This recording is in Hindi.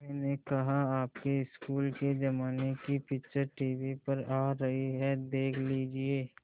मैंने कहा आपके स्कूल के ज़माने की पिक्चर टीवी पर आ रही है देख लीजिये